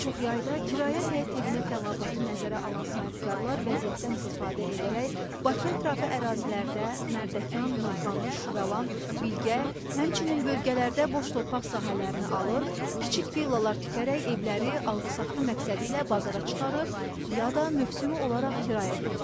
Daha çox yayda kirayə həyət evinə tələbatı nəzərə alan sahibkarlar vəziyyətdən istifadə edərək Bakıətrafı ərazilərdə Mərdəkan, Novxanı, Şüvəlan, Bilgə, həmçinin bölgələrdə boş torpaq sahələrini alır, kiçik villalar tikərək evləri alqı-satqı məqsədilə bazara çıxarır ya da mövsümü olaraq kirayə verirlər.